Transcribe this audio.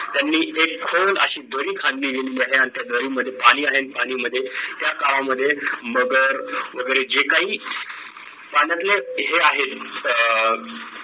त्यांनी एक खोल अशी दरी खांदली गेलेली आहे आणि त्या दरी मध्ये पाणी आहे पाणीमध्ये त्या काळामध्ये मगर वगैरे जे काही पाण्यातले हे आहेत अ